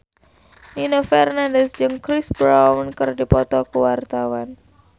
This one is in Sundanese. Nino Fernandez jeung Chris Brown keur dipoto ku wartawan